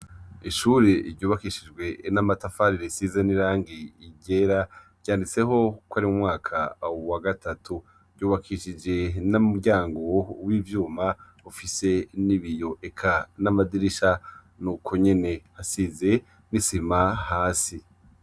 Ishure ryubakishijwe n'amatafari risize n'irangi ryera ryanditseko ko ari mumwaka wagatatu ryubakishijwe n'umuryango wivyuma ufise n 'ibiyo eka n' amadirisha nukwo nyene asize n' isima hasi.